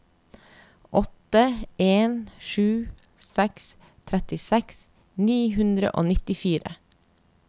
åtte en sju seks trettiseks ni hundre og nittifire